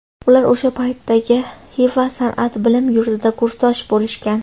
Ular o‘sha paytdagi Xiva san’at bilim yurtida kursdosh bo‘lishgan.